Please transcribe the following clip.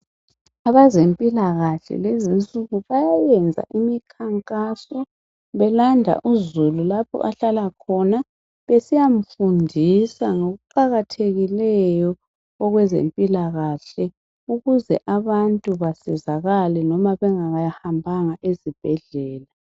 Abezempilakahle lezi insuku bayayenza imikhankaso belanda uzulu lapho ahlala khona, besiyamfundisa ngokuqakathekileyo okwezempilakahle ukuze abantu besizakala noma bengahambanga ezibhedlela.